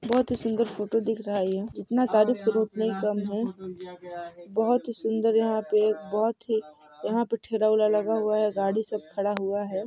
बहुत ही सुन्दर फोटो दिख रहा है ये जितना तारीफ करो उतना ही कम है बहुत ही सुन्दर यहाँ पे ठेला वेला यहाँ पे लगा हुआ है गाड़ी सब खड़ा हुआ है।